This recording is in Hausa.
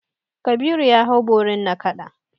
Kabiru ya hau borin nakada.